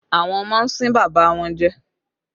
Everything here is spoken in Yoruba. Àwọn ọmọ ń sín bàbá wọn jẹ